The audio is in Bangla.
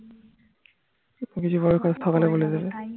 সকালে বলে দেবে